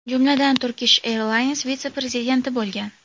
Jumladan, Turkish Airlines vitse-prezidenti bo‘lgan.